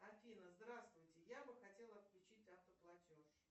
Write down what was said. афина здравствуйте я бы хотела отключить автоплатеж